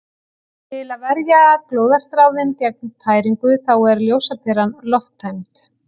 Til að verja glóðarþráðinn gegn tæringu þá er ljósaperan lofttæmd.